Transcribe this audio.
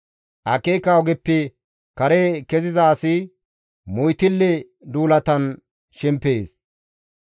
Akeeka ogeppe kare keziza asi moytille duulatan shemppees.